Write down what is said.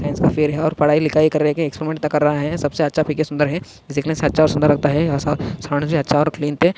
ये साइन्स का फेअर है कर रहे है पढाई लिखाई कर रहे है एक्सपरीमेंट्स कर रहा है सबसे अच्छा पीके सुंदर है सबसे अच्छा और सुंदर लगता है और सावुंड भी अच्छा और क्लीन ते --